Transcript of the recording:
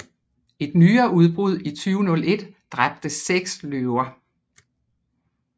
Et nyere udbrud i 2001 dræbte seks løver